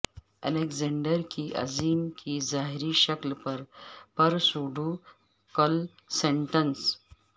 Alexander کی عظیم کی ظاہری شکل پر پرسوڈو کالسٹنس